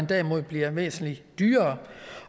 derimod bliver væsentlig dyrere